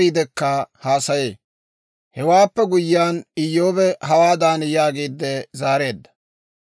Hewaappe guyyiyaan, Iyyoobi hawaadan yaagiide zaareedda;